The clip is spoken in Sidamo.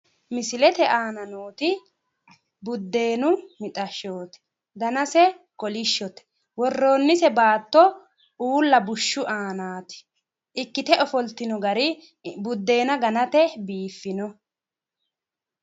Misilete aana nooti buddeenu mixashshooti danase kolishshote worroonnise baatto uulla bushshu aanaati ikkite ofoltino gari buddeena ganate biiffino